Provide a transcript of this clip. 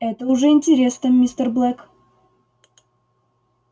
это уже интересно мистер блэк